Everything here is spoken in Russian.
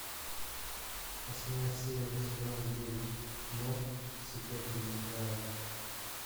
восьмая серия сезона девять кино секретные материалы